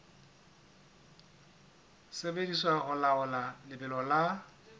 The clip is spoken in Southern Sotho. sebediswa ho laola lebelo la